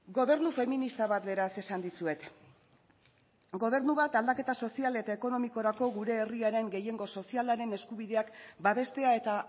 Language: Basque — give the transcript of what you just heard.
gobernu feminista bat beraz esan dizuet gobernu bat aldaketa sozial eta ekonomikorako gure herriaren gehiengo sozialaren eskubideak babestea eta